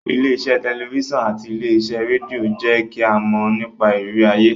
Ilé iṣẹ́ tẹ̀lifísàn àti ilé iṣẹ́ rédíò ń jẹ́ kí a mọ̀ nípa ìrírí ayé